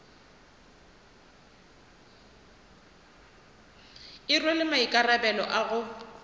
e rwele maikarabelo a go